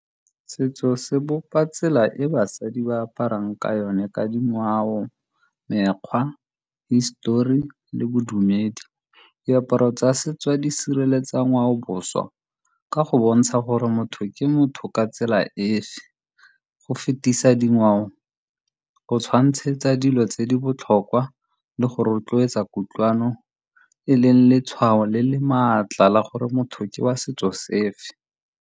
Setso se bopa tsela e basadi ba aparang ka yone ka dingwao, mekgwa, histori le bodumedi. Diaparo tsa setso di sireletsa ngwaoboswa ka go bontsha gore motho ke motho ka tsela efe, go fetisa dingwao go tshwantshetsa dilo tse di botlhokwa le go rotloetsa kutlwano e leng letshwao le le maatla la gore motho ke wa setso sefe.